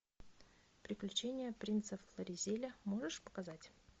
приключения принца флоризеля можешь показать